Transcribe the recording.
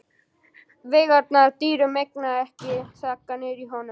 Veigarnar dýru megna ekki að þagga niður í honum.